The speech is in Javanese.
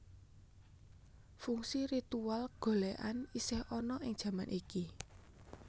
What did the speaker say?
Fungsi ritual golèkan isih ana ing jaman iki